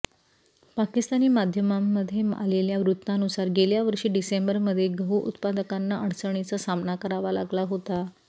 पाकिस्तानी माध्यमांमध्ये आलेल्या वृत्तानुसार गेल्या वर्षी डिसेंबरमध्ये गहु उत्पादकांना अडचणींचा सामना करावा लागला होता